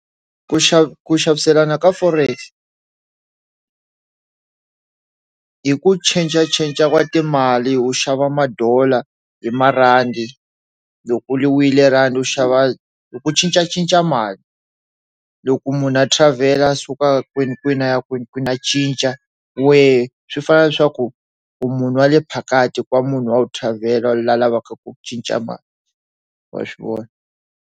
Ku xava ku xaviselana ka forex hi ku changer changer wa timali wu xava madollar hi marhandi loko yi wile rhandi u xava ku cincacinca mali loko munhu travel-er a suka kwini kwini a ya kwini a cinca wehe swi fana leswaku u munhu wale phakati ku wa munhu wu tlhavela loyi a lavaka ku cinca mali wa swi vona.